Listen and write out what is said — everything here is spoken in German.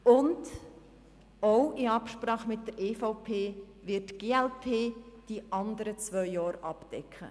Ebenfalls in Absprache mit der EVP wird die glp die anderen zwei Jahre abdecken.